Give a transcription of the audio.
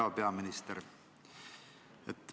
Hea peaminister!